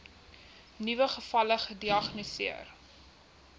nuwe gevalle gediagnoseer